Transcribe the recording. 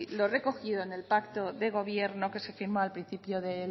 lo recogido en el pacto de gobierno que se firmó al principio de